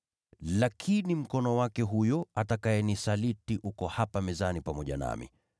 Lakini mkono wake huyo atakayenisaliti uko hapa mezani pamoja nami.